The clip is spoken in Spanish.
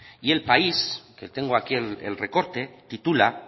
y el país que tengo aquí el recorte titula